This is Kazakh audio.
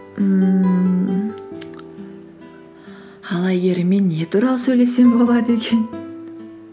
ммм ал әйгеріммен не туралы сөйлессем болады екен